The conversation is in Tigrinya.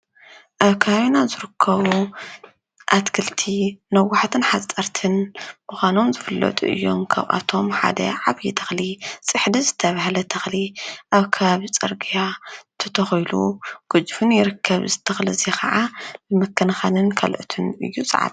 አብ ከባቢና ዝርከቡ አትክልቲ ነዋሕቲን ሓፀርቲን ምኳኖም ዝፍለጡ እዮም። ካብአቶም ሓደ ዓብይ ተኽሊ ፅሕዲ ዝተብሃለ ተኽሊ ኣብ ከባቢ ፅርጊያ ተተኪሉን ገዚፉን ይርከብ። እዚ ተክሊ ከዓ ብምክንኻንን ካልኦትን እዩ ዝዓቢ።